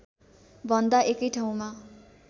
भन्दा एकै ठाउँमा